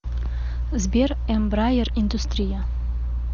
сбер эмбраер индустрия